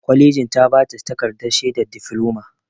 Kwalejin ta ba ta takardar shaidar difloma.